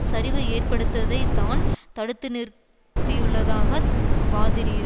சரிவு ஏற்படுத்ததை தான் தடுத்துநிறுத்தியுள்ளதாக வாதிடுகிறா